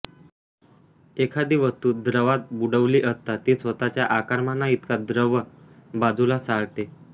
एखादी वस्तू द्रवात बुडवली असता ती स्वतःच्या आकारमानाइतका द्रव बाजूला सारते